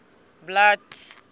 blood